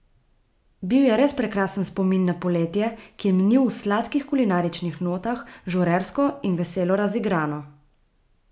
Bil je res prekrasen spomin na poletje, ki je minil v sladkih kulinaričnih notah, žurersko in veselo razigrano!